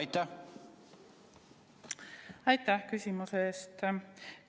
Aitäh küsimuse eest!